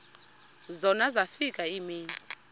zona zafika iimini